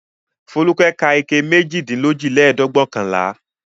Folúkẹ́ ka ike méjìdínlójìlẹ́ẹ̀dẹ́gbẹ̀ọ̀kànlá.